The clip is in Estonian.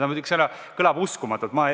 " Muidugi kõlab see uskumatult.